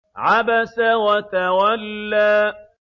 عَبَسَ وَتَوَلَّىٰ